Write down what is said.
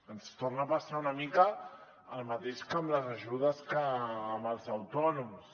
ens torna a passar una mica el mateix que amb les ajudes amb els autònoms